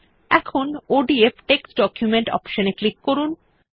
এখন ODF text document option এ click করুন